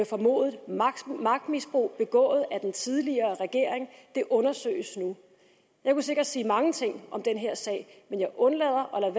formodet magtmisbrug begået af den tidligere regering det undersøges nu jeg kunne sikkert sige mange ting om den her sag men jeg undlader og